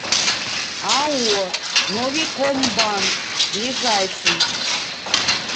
ао новикомбанк ближайший